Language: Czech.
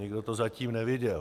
Nikdo to zatím neviděl.